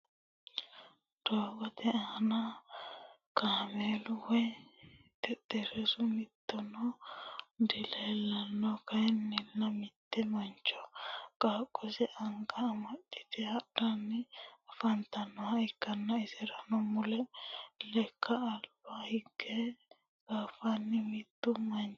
doogote aanna kameelu woyi xexerisu mittuno dileelano kayinnila mitte mancho qaaqose anga amaxite hadhanni afantanoha ikanna insara mulle lekka aliba higge qaafanni mittu manchi afamanno.